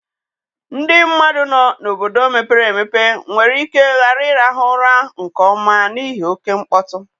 Ndị mmadụ nọ n'obodo mepere emepe nwere ike ghara ịrahụ ụra nke ọma n'ihi oke mkpọtụ.